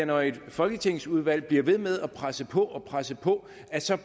når et folketingsudvalg bliver ved med at presse på presse på